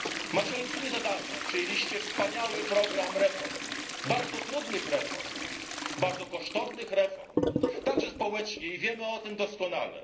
Macie olbrzymie zadania, przyjęliście wspaniały program reform, bardzo trudnych reform, bardzo kosztownych reform, kosztownych także społecznie, wiemy o tym doskonale.